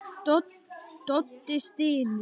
Doddi stynur.